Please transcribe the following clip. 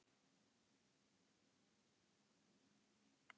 Jú, en.